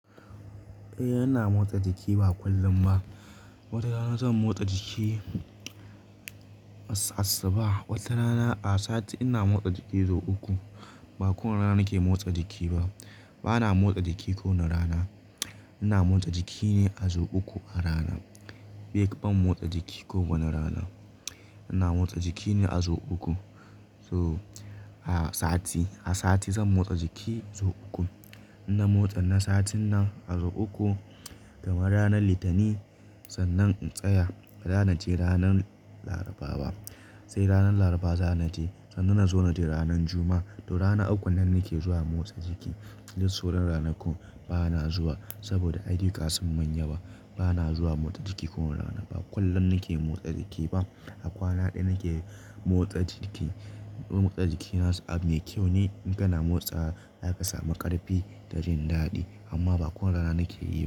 Eh, ina motsa jiki ba kullum ba. Wata rana zan motsa jiki, as asuba wata rana a sati ina motsa jiki sau uku. Ba kowane rana nake motsa jiki ba. Bana motsa jiki kowane rana. Ina motsa jiki ne a sau uku a rana. Bai kam motsa jiki kowane rana. Ina motsa jiki ne a sau uku. To a sati, a sati zan motsa jiki sau uku. Inna motsa na satin nan a sau uku, kamar ranar Litini sannan in tsaya. Baza nace ranar ce ranar Laraba ba. Sai ranar Laraba zanaje sannan nazo najr ranar juma'a. Toh rana ukun nan nake zuwa motsa jiki. Duk sauran ranakun bana zuwa saboda ayyuka sun min yawa bana motsa jiki kowane rana kullum nake motsa jiki ba a kwana ɗaya nake motsa jiki. Motsa jiki nasan abu mai kyau ne in kana motsawa zaka samu ƙarfi da jin daɗi amma ba kowane rana nake yi ba.